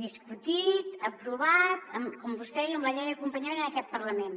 discutit aprovat com vostè deia amb la llei d’acompanyament en aquest parlament